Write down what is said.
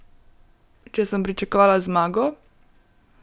Če sem pričakovala zmago?